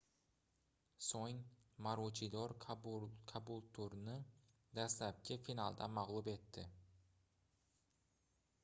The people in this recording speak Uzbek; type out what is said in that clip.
soʻng maruchidor kabulturni dastlabki finalda magʻlub etdi